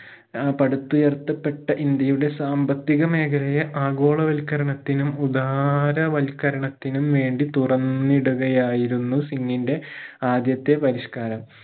ആഹ് പടുത്തുയർത്തപ്പെട്ട ഇന്ത്യയുടെ സാമ്പത്തിക മേഖലയെ ആഗോള വത്കരണത്തിനും ധാര വത്കരണത്തിനും വേണ്ടി തുറന്നിടുകയായിരുന്നു സിംഗിന്റെ ആദ്യത്തെ പരിഷ്‌ക്കാരം